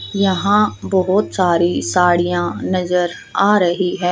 यहां बहोत सारी साड़ियां नजर आ रही है।